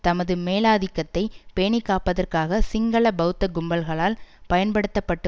தமது மேலாதிக்கத்தை பேணிக்காப்பதற்காக சிங்கள பெளத்த கும்பல்களால் பயன்படுத்த பட்டு